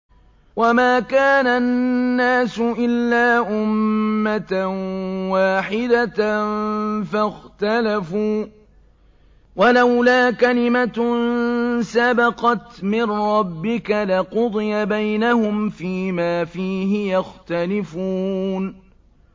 وَمَا كَانَ النَّاسُ إِلَّا أُمَّةً وَاحِدَةً فَاخْتَلَفُوا ۚ وَلَوْلَا كَلِمَةٌ سَبَقَتْ مِن رَّبِّكَ لَقُضِيَ بَيْنَهُمْ فِيمَا فِيهِ يَخْتَلِفُونَ